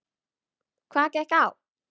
Hvað gekk á?